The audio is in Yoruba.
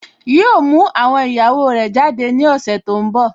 Yíò mú àwọn ìyàwó rẹ̀ jáde ní ọ̀sẹ̀ tó n bọ̀